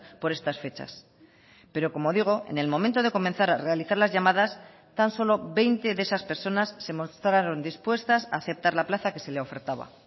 por estas fechas pero como digo en el momento de comenzar a realizar las llamadas tan solo veinte de esas personas se mostraron dispuestas a aceptar la plaza que se le ofertaba